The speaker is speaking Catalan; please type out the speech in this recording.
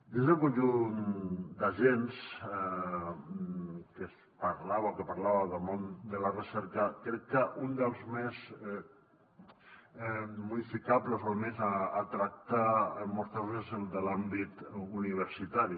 dins del conjunt d’agents que es parlava o que parlava del món de la recerca crec que un dels més modificables o el més a tractar en molts casos és el de l’àmbit universitari